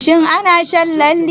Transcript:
Shin ana shan lalle?